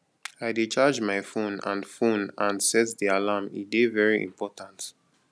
i dey charge my phone and phone and set di alarm e dey very important